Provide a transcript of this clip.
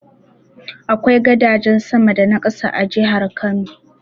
Akwai gadajen sama da na ƙasa a jihar Kano.